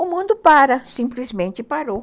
O mundo para, simplesmente parou.